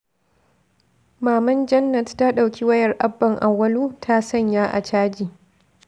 Maman Jannat ta ɗauki wayar Abban Awwalu ta sanya a caji.